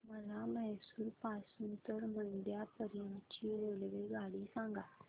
मला म्हैसूर पासून तर मंड्या पर्यंत ची रेल्वेगाडी सांगा